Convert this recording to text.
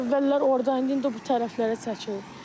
Əvvəllər orda idi, indi bu tərəflərə çəkilib.